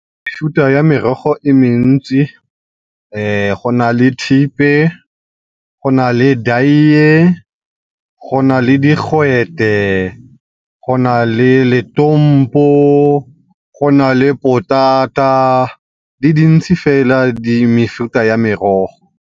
ya merogo e mentsi go na le thepe, go na le , go na le digwete, go na le , go na le potata, di dintse fela mefuta ya merogo.